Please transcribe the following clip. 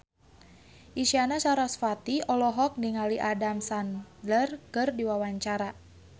Isyana Sarasvati olohok ningali Adam Sandler keur diwawancara